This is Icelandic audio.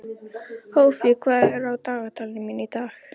Hófí, hvað er á dagatalinu mínu í dag?